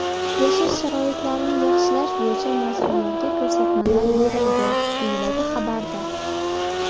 Yashash sharoitlarini yaxshilash bo‘yicha mas’ullarga ko‘rsatmalar berildi”, deyiladi xabarda.